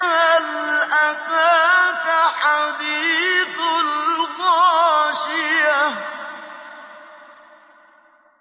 هَلْ أَتَاكَ حَدِيثُ الْغَاشِيَةِ